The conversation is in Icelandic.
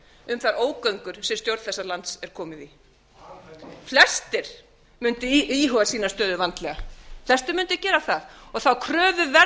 um þær ógöngur sem stjórn þessa lands er komin í flestir mundu í huga sína stöðu vandlega flestir mundu gera það þá kröfu verður að